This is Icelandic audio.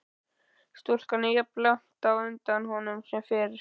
Stúlkan er jafnlangt á undan honum sem fyrr.